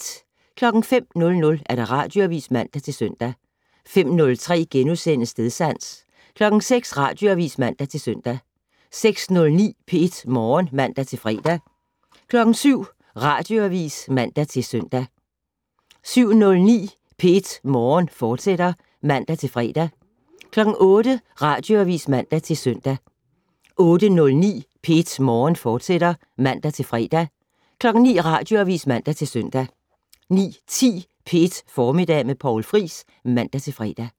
05:00: Radioavis (man-søn) 05:03: Stedsans * 06:00: Radioavis (man-søn) 06:09: P1 Morgen (man-fre) 07:00: Radioavis (man-søn) 07:09: P1 Morgen, fortsat (man-fre) 08:00: Radioavis (man-søn) 08:09: P1 Morgen, fortsat (man-fre) 09:00: Radioavis (man-søn) 09:10: P1 Formiddag med Poul Friis (man-fre)